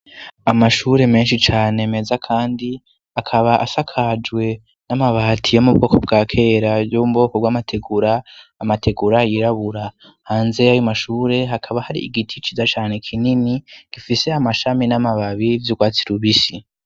Amashure menshi cane meza kandi akaba asakajwe n'amabatiye yo mubwoko bwa kera yo mubwoko bw'amategura amategura yirabura hanze y' amashure hakaba hari igiti ciza cane kinini gifise amashami n'amababi vy'ugwatsi rubisi.